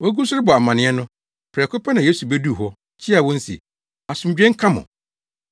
Wogu so rebɔ amanneɛ no, prɛko pɛ na Yesu beduu hɔ, kyiaa wɔn se, “Asomdwoe nka mo!”